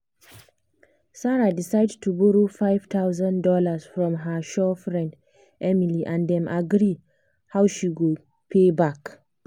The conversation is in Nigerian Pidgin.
sarah decide to borrow five thousand dollars from her sure friend emily and dem agree how she go pay back.